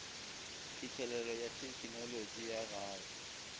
phihlelelo ya thekenolotši ya gae